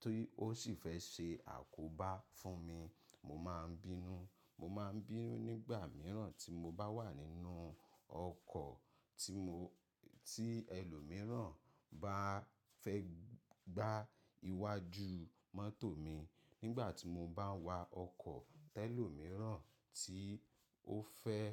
tí ó sì fẹ́ ṣe àkóbá fún mi, mo máa ń bínú. Mo máa ń bínú nígbà mìíràn tí mo bá wà nínú ọkọ̀, tí ẹlòmíràn bá fẹ́ gbá iwájú mọ́tò mi. Nígbà tí mo bá ń wa ọkọ̀, tẹlòmíràn tí ó fẹ́